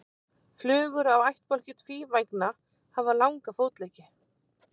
Flugur af ættbálki tvívængna hafa langa fótleggi.